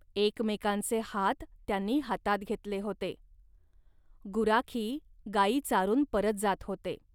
एकमेकांचे हात त्यांनी हातांत घेतले होते. गुराखी गाई चारून परत जात होते